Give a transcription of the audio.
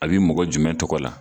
A bi mɔgɔ jumɛn tɔgɔ la ?